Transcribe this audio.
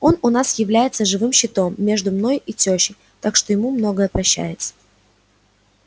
он у нас является живым щитом между мной и тёщей так что ему многое прощается